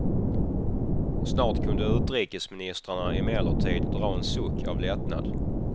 Snart kunde utrikesministrarna emellertid dra en suck av lättnad.